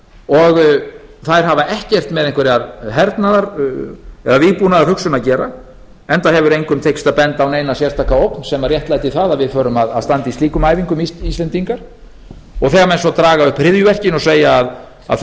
og þær hafa ekkert með einhverja hernaðar eða vígbúnaðarhugsun að gera enda hefur engum tekist að benda á neina sérstaka ógn sem réttlæti það að við förum að standa í slíkum æfingum íslendingar þegar menn svo draga upp hryðjuverkin og segja að